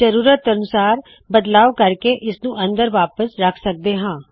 ਜ਼ਰੂਰਤ ਅਨੁਸਾਰ ਬਦਲਾਵ ਕਰਕੇ ਇਸ ਨੂੰ ਅੰਦਰ ਵਾਪਸ ਰੱਖ ਸਕਦੇ ਹਾ